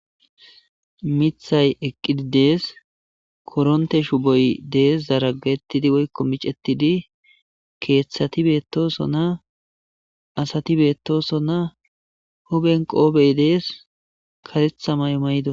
miththay eqqidi dees kotontte shubboy dees zaragaetidi woyikko miccetidi keththati bettosona asati bettosona huphphen qobbey dees kareththa mayo mayidosona.